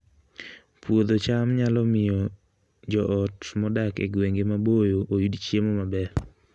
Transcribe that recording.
Puodho cham nyalo miyo joot modak e gwenge maboyo oyud chiemo maber